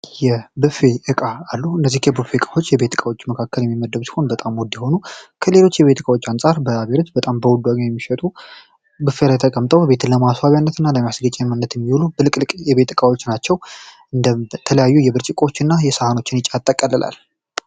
የቡፌ እቃዎች አሉ የቡፌ እቃዎች ከቤት እቃዎች መካከል የሚመደቡ ሲሆን በጤም ውድ የሆኑ ከሌሎች እቃዎች አንፃር በአቤሬጅ በጣም በውድ የሚሸጡ ቡፌ ላይ ተቀምጠው ቤትን ለማስዋቢያነት እና ለማስጌጫነት የሚውሉ ፍልቅልቅ እቃዎች ናቸው። የተለያዩ ብርጭቆዎችን እና ሰሀኖችን ያጠቃልላል።